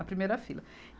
A primeira fila.